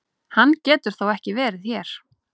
Hann getur þó ekki verið hér!